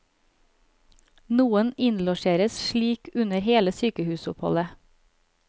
Noen innlosjeres slik under hele sykehusoppholdet.